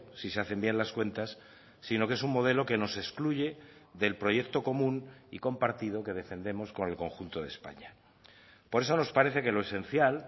si se hacen bien las cuentas sino que es un modelo que nos excluye del proyecto común y compartido que defendemos con el conjunto de españa por eso nos parece que lo esencial